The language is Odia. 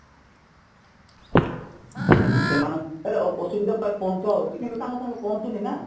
ସେମାନଙ୍କ ଆରେ ଅସୁବିଧାତ ପହଞ୍ଚା ହଉଚି କିନ୍ତୁ ତାଙ୍କ ପାଖେ ପହଁଞ୍ଚୁ ନି ନା